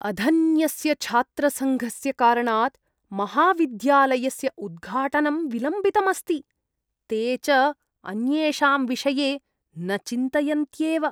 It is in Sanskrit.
अधन्यस्य छात्रसङ्घस्य कारणात् महाविद्यालयस्य उद्घाटनं विलम्बितम् अस्ति, ते च अन्येषां विषये न चिन्तयन्त्येव।